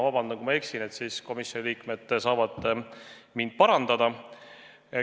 Vabandust, kui ma eksin, siis komisjoni liikmed võivad mind parandada.